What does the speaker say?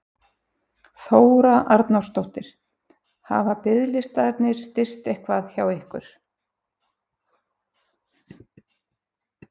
Þóra Arnórsdóttir: Hafa biðlistarnir styst eitthvað hjá ykkur?